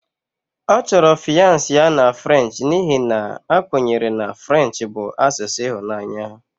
Ọ chọrọ fiance ya na French n'ihi na a kwenyere na French bụ asụsụ ịhụnanya